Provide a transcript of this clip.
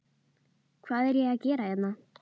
Hvað er ég að gera hérna?